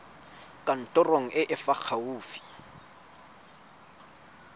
kantorong e e fa gaufi